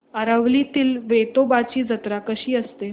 आरवलीतील वेतोबाची जत्रा कशी असते